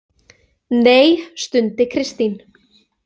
Nei, stundi Kristín.